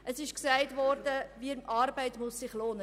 Erstens wurde gesagt, Arbeit müsse sich lohnen.